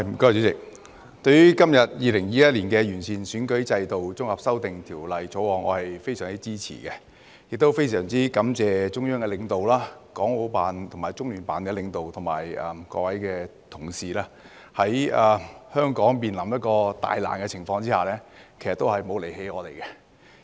主席，對於今天的《2021年完善選舉制度條例草案》，我非常支持，亦非常感謝中央的領導、港澳辦及中聯辦的領導，以及各位同事，在香港面臨大難的情況之下，也沒有離棄我們。